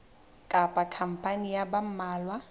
kapa khampani ya ba mmalwa